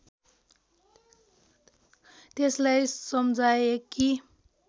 त्यसलाई सम्झाए कि